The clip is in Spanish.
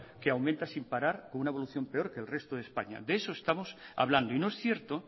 que aumenta sin parar una con evolución peor que el resto de españa de eso estamos hablando y no es cierto